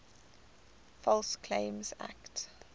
false claims act